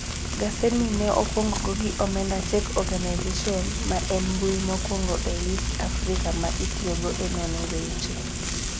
Gasedni ne okwong go gi omendaCheck.org, ma en mbui mokwongo e East Africa ma itiyogo e nono weche.